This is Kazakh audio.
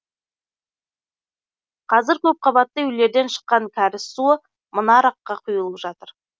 қазір көпқабатты үйлерден шыққан кәріз суы мына арыққа құйылып жатыр